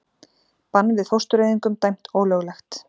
Bann við fóstureyðingum dæmt ólöglegt